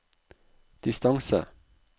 distance